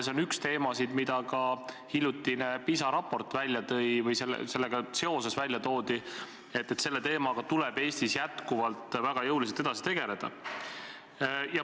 See on üks teemasid, mida ka hiljutise PISA raportiga seoses välja toodi, et selle teemaga tuleb Eestis väga jõuliselt edasi tegeleda.